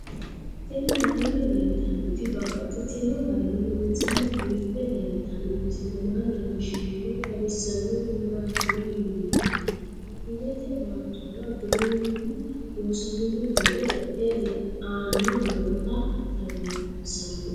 Tinni aleenni leelittannotti babaxxittinno garinni loonseenna biiffe leelittanno misile maa leelishshanno woy xawisannori maattiya yinummoro baadiyeette baattora giwirinnu loosaminno gidde e'e la'anni nootta xawissanno